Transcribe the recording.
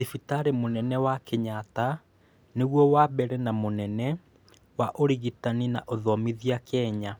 Thibitarĩ mùnene wa kenyatta nĩguo wa mbere na mũnene wa ũrigiti na ũthomithania Kenya